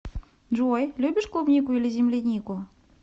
джой любишь клубнику или землянику